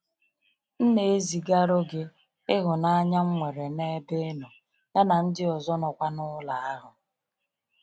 M na ezi ga rụgị ịhụnanya nnwere n'ebe inọ, ya na ndị ọzọ nọ kwa n'ụlọ ahụ.